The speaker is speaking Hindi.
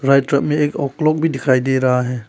राइट में एक क्लॉक भी दिखाई दे रहा है।